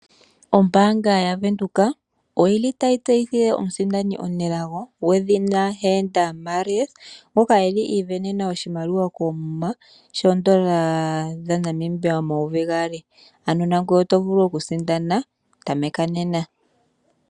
Ombaanga yavenduka oyili tayi tseyithile omusindani omunelago, gwedhina Heenda Mario, ngoka eli sindanena oshimaliwa shoondola dhaNamibia omayovi gaali, ano nangwee otovulu oku sindana, tameka nena.